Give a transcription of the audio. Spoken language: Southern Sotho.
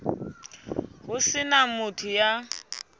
ho se na motho ya